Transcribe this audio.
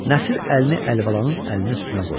Nəsir əlini Əlibalanın əlinin üstünə qoydu.